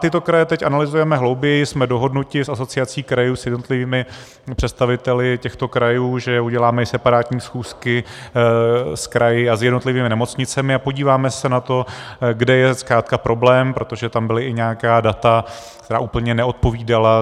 Tyto kraje teď analyzujeme hlouběji, jsme dohodnuti s Asociací krajů, s jednotlivými představiteli těchto krajů, že uděláme i separátní schůzky s kraji a s jednotlivými nemocnicemi a podíváme se na to, kde je zkrátka problém, protože tam byla i nějaká data, která úplně neodpovídala.